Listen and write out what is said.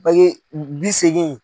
bi seegin.